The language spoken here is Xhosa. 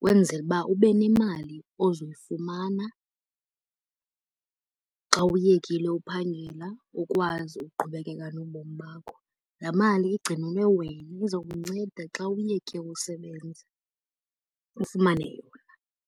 Kwenzele uba ube nemali ozoyifumana xa uyekile uphangela ukwazi uqhubekeka nobomi bakho. Laa mali igcinelwe wena izokunceda xa uyeke usebenza ufumane yona.